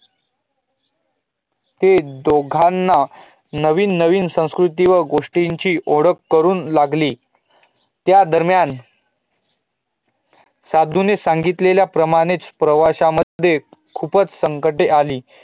त्या दोघांना नविन नविन संस्कृती व गोष्टीची ओडख करुण लागली त्या दरम्यान साधूंनी सगितल्या प्रमाणेच प्रवासा मध्येखूपच संकटे आली